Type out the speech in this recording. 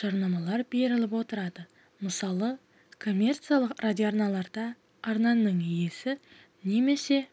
жарнамалар беріліп отырады мысалы коммерциялық радиоарналарда арнаның иесі немесе